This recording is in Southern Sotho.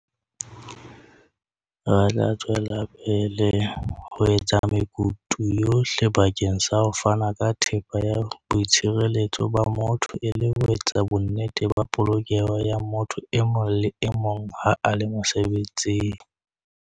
"Re tla tswela pele ho etsa mekutu yohle bakeng sa ho fana ka thepa ya boitshireletso ba motho e le ho etsa bonnete ba polokeho ya motho e mong le e mong ha a le mosebetsing."